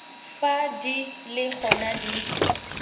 fa di le gona di